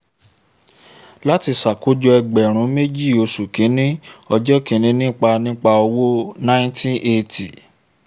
láti ṣàkójọ ẹgbẹ̀rún méjì oṣù kìíní ọjọ́ kìíní nípa nípa owó nineteen eighty